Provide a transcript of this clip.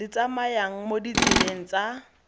di tsamayang mo ditseleng tsa